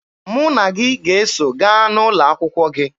Mụ na gị ga-eso gaa n'ụlọ akwụkwọ gị.